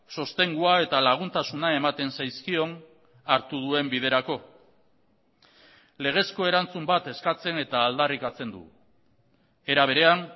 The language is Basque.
sostengua eta laguntasuna ematen zaizkion hartu duen biderako legezko erantzun bat eskatzen eta aldarrikatzen du era berean